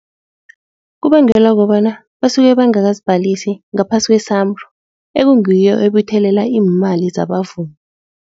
Kubangelwa kobana basuke bangakazibhalisi ngaphasi kwe-SAMRO ekungiyo ebuthelela iimali zabavumi.